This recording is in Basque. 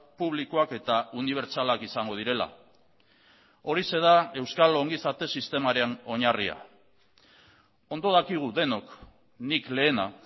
publikoak eta unibertsalak izango direla horixe da euskal ongizate sistemaren oinarria ondo dakigu denok nik lehena